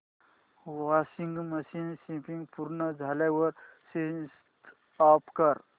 washing machine spin पूर्ण झाल्यावर switch off कर